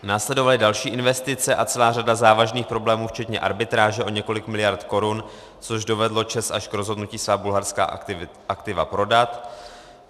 Následovaly další investice a celá řada závažných problémů včetně arbitráže o několik miliard korun, což dovedlo ČEZ až k rozhodnutí svá bulharská aktiva prodat.